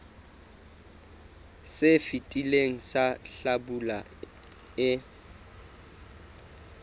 se fetileng sa hlabula e